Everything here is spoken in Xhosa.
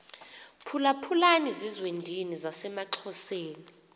phulaphulani zizwendini zasemaxhoseni